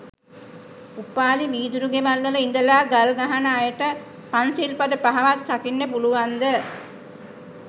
උපාලි වීදුරු ගෙවල් වල ඉදලා ගල්ගහන අයට පන්සිල් පද පහවත් රකින්න පුළුවන් ද?